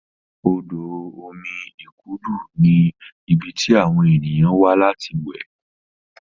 odo omí ikudu ní ibí tí àwọn ènìyàn wá láti we